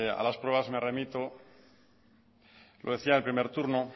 a las pruebas me remito lo decía el primer turno